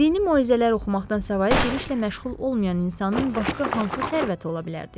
Dini moizələr oxumaqdan savayı bir işlə məşğul olmayan insanın başqa hansı sərvəti ola bilərdi ki?